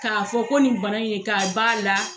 K'a fɔ ko nin bana in k'a b'a la.